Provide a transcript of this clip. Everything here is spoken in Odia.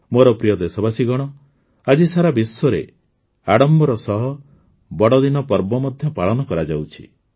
ମୋର ପ୍ରିୟ ଦେଶବାସୀଗଣ ଆଜି ସାରା ବିଶ୍ୱରେ ଆଡମ୍ବର ସହ ବଡ଼ଦିନ ପର୍ବ ମଧ୍ୟ ପାଳନ କରାଯାଉଛି